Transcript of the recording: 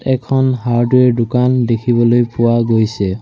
এখন হাৰ্ডৱেৰ দোকান দেখিবলৈ পোৱা গৈছে।